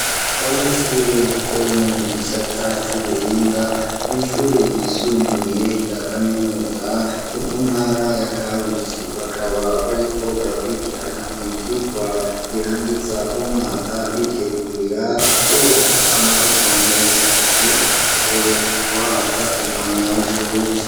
Abanyeshuri bo mu gisata c'ubuhinga mw'ishure ryisumbuye rya kaminuza ryo mu ntara ya Karusi, bakaba bariko barakwikirana ivyirwa birangiza umwaka bitegurira kuronka amanota meza kugira bashobore guhabwa impamyabushobozi.